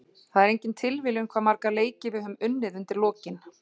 Það er engin tilviljun hvað marga leiki við höfum unnið undir lokin.